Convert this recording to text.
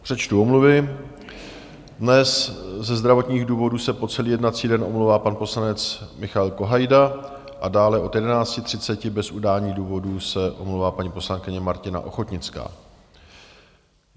Přečtu omluvy: dnes ze zdravotních důvodů se po celý jednací den omlouvá pan poslanec Michal Kohajda a dále od 11.30 bez udání důvodu se omlouvá paní poslankyně Martina Ochodnická.